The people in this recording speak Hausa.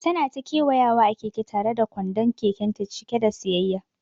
Tana ta kewayawa a keke tare da kwandon kekenta cike da siyayya.